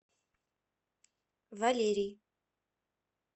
валерий